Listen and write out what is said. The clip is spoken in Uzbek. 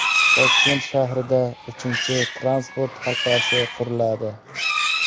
Toshkent shahrida uchinchi transport halqasi quriladi.